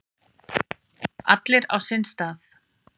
Allir á sinn stað.